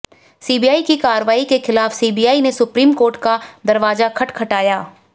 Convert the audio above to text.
CBI की कार्रवाई के खिलाफ सीबीआई ने सुप्रीम कोर्ट का दरवाजा खटखटाया